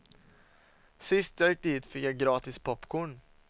Sist jag gick dit fick jag gratis popcorn.